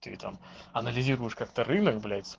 ты там анализируешь как-то рынок блять